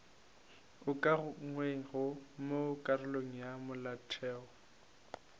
ukangwego mo karolong ya molaotheo